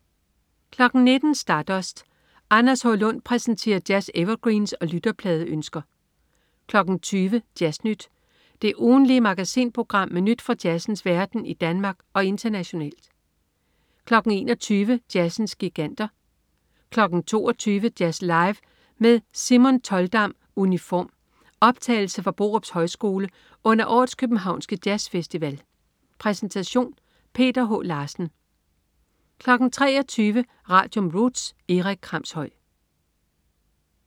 19.00 Stardust. Anders H. Lund præsenterer jazz-evergreens og lytterpladeønsker 20.00 Jazz Nyt. Det ugentlige magasinprogram med nyt fra jazzens verden i Danmark og internationalt 21.00 Jazzens Giganter 22.00 Jazz Live med Simon Toldam Uniform. Optagelse fra Borups Højskole under årets københavnske jazzfestival. Præsentation: Peter H. Larsen 23.00 Radium. Roots. Erik Kramshøj